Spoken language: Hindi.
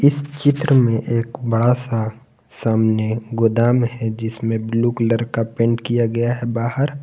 इस चित्र में एक बड़ा सा सामने गोदाम है जिसमें ब्लू कलर का पेंट किया गया है बाहर।